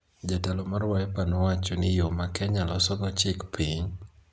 Jatelo mar Wiper nowacho ni yo ma Kenya losogo chik piny,